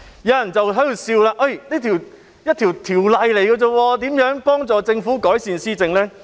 有人會笑指，區區一項條例怎可能幫助政府改善施政。